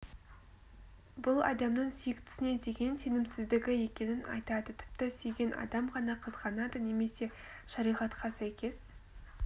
бұл адамның сүйіктісіне деген сенімсіздігі екенін айтады тіпті сүйген адам ғана қызғанады немесе шариғатқа сәйкес